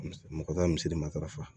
Mɔgɔ t'a misiri matarafa